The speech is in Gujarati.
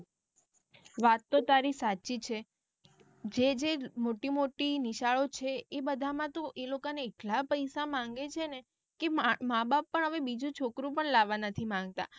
વાત તો તારી સાચી છે જે જે મોટી મોટી નિશાળો છે એ બધા માં તો એ લોક ને એટલા બધા પૈસા માંગે છેને કે માં બાપ પણ આવે બીજું છોકરું પણ લાવવા નથી માંગતા.